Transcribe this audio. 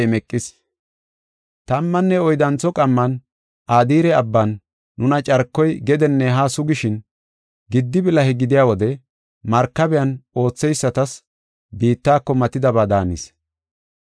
Tammanne oyddantho qamman Adire Abban nuna carkoy gedenne haa sugishin, gidi bilahe gidiya wode markabiyan ootheysatas biittako matidaba daanis.